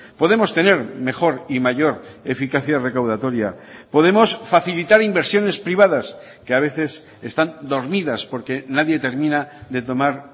podemos tener mejor y mayor eficacia recaudatoria podemos facilitar inversiones privadas que a veces están dormidas porque nadie termina de tomar